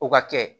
O ka kɛ